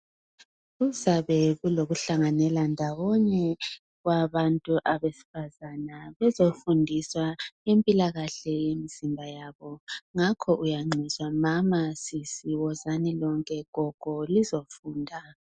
Kuzabe kuloku hlanganelana ndawonye kwabantu abesifazana bezofundiswa impilakahle inzima yabo ngakho uyanxuswa mama sisi wozani lonke gogo lizofunda.